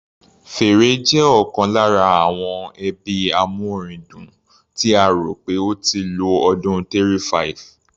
Fèrè jẹ́ ọ̀kan lára àwọn ẹbí amúorin dùn, tí a rò pé ó ti lo ọdún 3500.